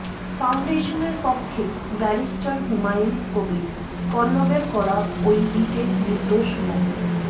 ফাউন্ডেশনের পক্ষে ব্যারিস্টার হুমায়ুন কবির পল্লবের করা ওই রিটে নির্দোষ মো